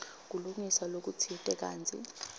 kulungiswa lokutsite kantsi